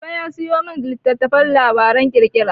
Baba ya sayo min littattafan labaran ƙirƙira.